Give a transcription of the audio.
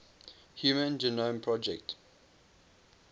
human genome project